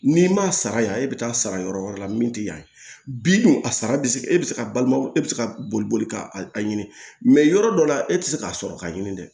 N'i ma sara yan e bɛ taa sara yɔrɔ wɛrɛ la min tɛ yan bi a sara bɛ se e bɛ se ka balima e bɛ se ka boli boli ka a ɲini yɔrɔ dɔ la e tɛ se k'a sɔrɔ k'a ɲini dɛ